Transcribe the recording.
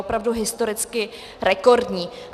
Opravdu historicky rekordní.